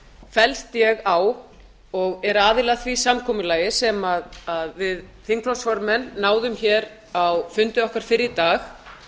fellst ég á og er aðili að því samkomulagi sem við þingflokksformenn náðum á fundi okkar fyrr í dag